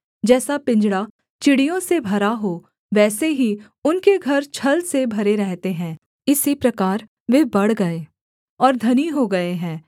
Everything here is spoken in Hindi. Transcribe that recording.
जैसा पिंजड़ा चिड़ियों से भरा हो वैसे ही उनके घर छल से भरे रहते हैं इसी प्रकार वे बढ़ गए और धनी हो गए हैं